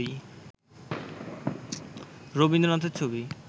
রবীন্দ্রনাথের ছবি